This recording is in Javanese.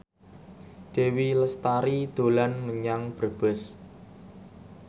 Dewi Lestari dolan menyang Brebes